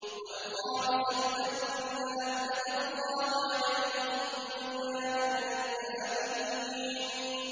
وَالْخَامِسَةُ أَنَّ لَعْنَتَ اللَّهِ عَلَيْهِ إِن كَانَ مِنَ الْكَاذِبِينَ